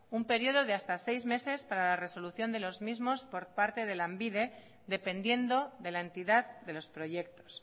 un período de hasta seis meses para la resolución de los mismos por parte de lanbide dependiendo de la entidad de los proyectos